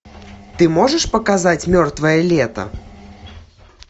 ты можешь показать мертвое лето